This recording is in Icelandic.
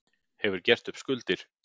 Hefur gert upp skuldir